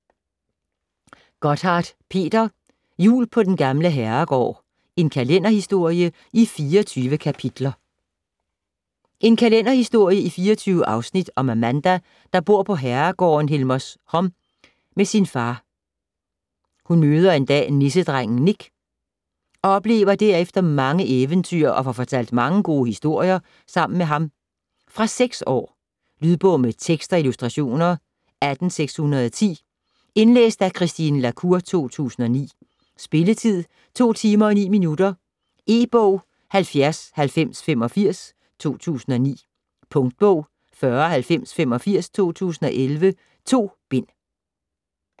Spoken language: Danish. Gotthardt, Peter: Jul på den gamle herregård: en kalenderhistorie i 24 kapitler En kalenderhistorie i 24 afsnit om Amanda der bor på herregården Helmershom med sin far. Hun møder en dag nissedrengen Nik og oplever derefter mange eventyr og får fortalt mange gode historier sammen med ham. Fra 6 år. Lydbog med tekst og illustrationer 18610 Indlæst af Christine La Cour, 2009. Spilletid: 2 timer, 9 minutter. E-bog 709085 2009. Punktbog 409085 2011. 2 bind.